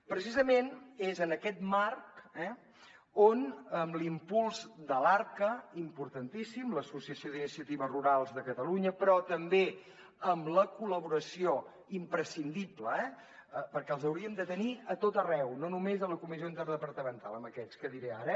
precisament és en aquest marc on l’impuls de l’arca importantíssim l’associació d’iniciatives rurals de catalunya però també amb la col·laboració imprescindible perquè els hauríem de tenir a tot arreu no només a la comissió interdepartamental aquests que diré ara